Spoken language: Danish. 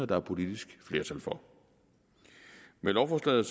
der er politisk flertal for med lovforslaget